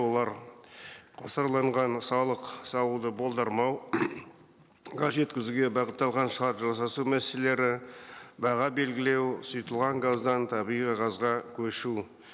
олар қосарланған салық салуды болдырмау жеткізуге бағытталған шарт жасасу мәселелері баға белгілеу сұйытылған газдан табиғи газға көшу